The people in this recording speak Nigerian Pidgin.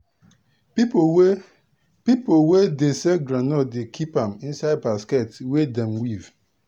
people wey people wey dey sell groundnut dey keep am inside basket wey dem weave.